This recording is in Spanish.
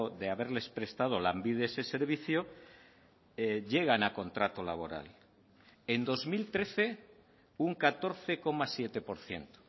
de haberles prestado lanbide ese servicio llegan a contrato laboral en dos mil trece un catorce coma siete por ciento